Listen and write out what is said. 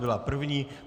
Byla první.